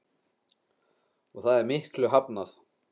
Og það er miklu hafnað.